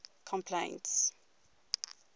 complaints